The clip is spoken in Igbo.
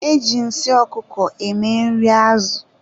E ji nsị ọkụkọ eme nri azụ.